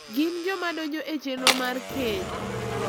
gin joma donjo e chenro mar keny.